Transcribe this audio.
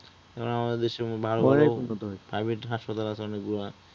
আমাদের দেশের, উন্নত হইছে আমাদের দেশের ভালো ভালো private হাসপাতাল আছে অনেকগুলা